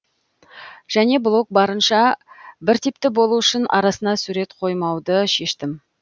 және блог барынша біртипті болу үшін арасына сурет қоймауды шештім